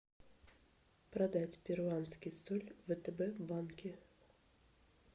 продать перуанский соль в втб банке